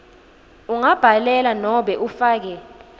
ungabhalela nobe ufake